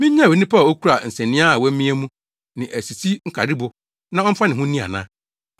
Minnyae onipa a okura nsania a wɔamia mu, ne asisi nkaribo na ɔmfa ne ho nni ana?